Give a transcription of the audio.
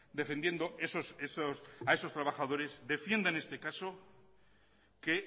defendiendo a esos trabajadores defienda en este caso que